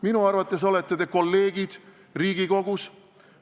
Minu arvates olete te mu kolleegid Riigikogus.